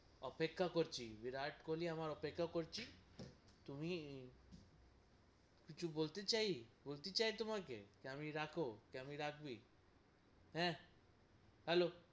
অপেক্ষা করছি, বিরাট কোহলি আমার অপেক্ষা করছি তুমি কিছু বলতে চাই, বলতে চাই তোমাকে, কি আমি রাখো, কি আমি রাখবি, হ্যাঁ হ্যালো,